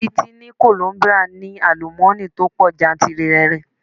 Títí ní Kolombia ní àlùmọ́ni tó pọ̀ jantìrẹrẹ.